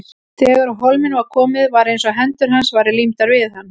Þegar á hólminn var komið var eins og hendur hans væru límdar við hann.